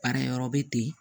Baarakɛyɔrɔ bɛ ten